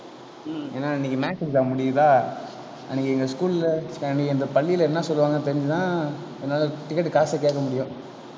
ஏன்னா இன்னைக்கு maths exam முடியுதா அன்னைக்கு எங்க school ல இந்த பள்ளில என்ன சொல்லுவாங்கன்னு தெரிஞ்சி தான் என்னால ticket காசு கேக்க முடியும்